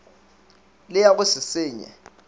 le ya go se senye